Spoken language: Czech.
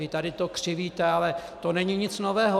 Vy to tady křivíte, ale to není nic nového.